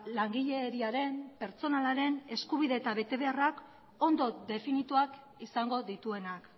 langileriaren pertsonalaren eskubide eta betebeharrak ondo definituak izango dituenak